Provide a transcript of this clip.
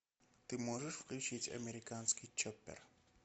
ты можешь включить американский чоппер